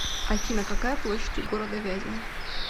афина какая площадь у города вязьма